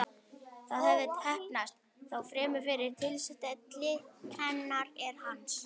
Það hafði heppnast, þó fremur fyrir tilstilli hennar en hans.